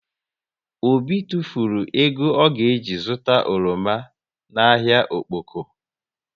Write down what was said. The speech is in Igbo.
Obi tufulu ego ọ ga ji zụta oroma na ahịa Okpoko